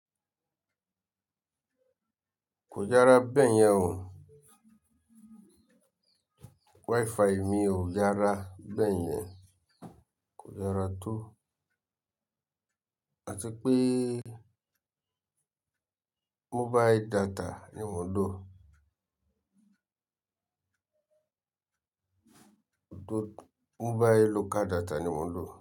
Kò dára bẹ́ẹ̀ yẹn o. Wi-Fi mi ò yara bẹ́ẹ̀ yẹn. Kò dára tó. À ti pé mobile data ni mò ń lò. Mobile local data ni mò ń lò.